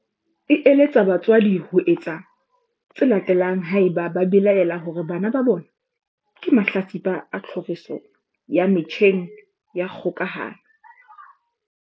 E eletsa batswadi ho etsa tse latelang ebang ba belaela hore bana ba bona ke mahlatsipa a tlhoriso ya metjheng ya kgokahano.